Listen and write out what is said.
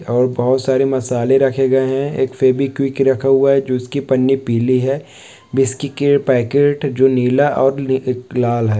और बहुत सारे मसाले रखे गए है एक फेविक्विक रखा हुआ है जो उसकी पन्नी पीली है बिस्किट के पैकेट जो नीला और नी ए लाल है।